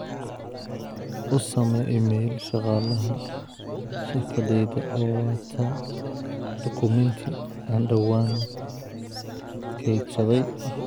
u samee iimayl shaqaalaha shirkaddayda oo wata dukumeenti aan dhawaan keydsaday